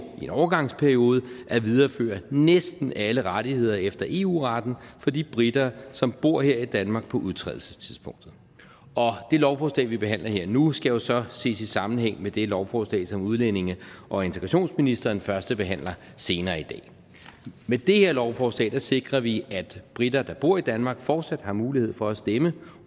i en overgangsperiode at videreføre næsten alle rettigheder efter eu retten for de briter som bor her i danmark på udtrædelsestidspunktet og det lovforslag vi behandler her og nu skal jo så ses i sammenhæng med det lovforslag fra udlændinge og integrationsministeren som førstebehandles senere i dag med det her lovforslag sikrer vi at briter der bor i danmark fortsat har mulighed for at stemme